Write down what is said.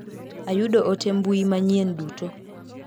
Ayudo ote mbui manyien duto.